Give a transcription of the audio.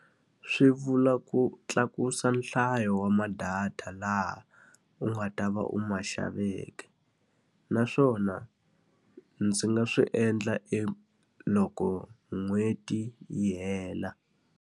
Swi vula ku tlakusa nhlayo wa ma-data laha u nga ta va u ma xaveke. Naswona ndzi nga swi endla e loko n'hweti yi hela.